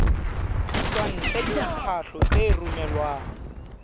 ditswantle le diphahlo tse romelwang